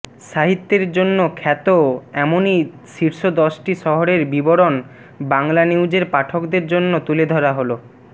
সাহিত্যের জন্য খ্যাত এমনই শীর্ষ দশটি শহরের বিবরণ বাংলানিউজের পাঠকদের জন্য তুলে ধরা হল